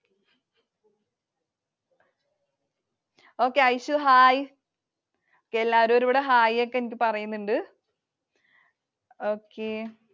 Okay Aishu hi എല്ലാവരും ഓരോ Hi ഒക്കെ എനിക്ക് പറയുന്നുണ്ട്. okay